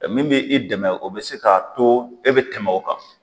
E min bɛ i dɛmɛ o bɛ se k'a to e bɛ tɛmɛ o kan.